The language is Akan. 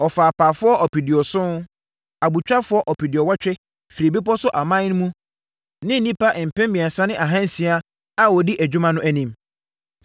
Ɔfaa apaafoɔ ɔpeduɔson, abotwafoɔ ɔpeduɔwɔtwe firii bepɔ so aman mu ne nnipa mpem mmiɛnsa ne ahansia a wɔdi adwuma no anim.